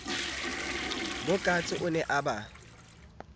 bokatse o ne a ba